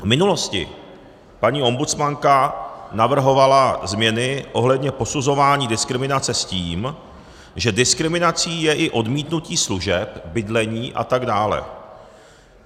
V minulosti paní ombudsmanka navrhovala změny ohledně posuzování diskriminace s tím, že diskriminací je i odmítnutí služeb, bydlení atd.